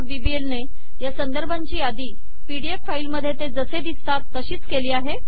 BBL ने या संदर्भांची यादी पीडीएफ फाईल मध्ये ते जसे दिसतात तशीच केली आहे